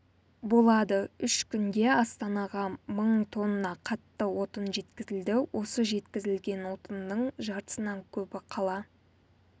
болады үш күнде астанаға мың тонна қатты отын жеткізілді осы жеткізілген отынның жартысынан көбі қала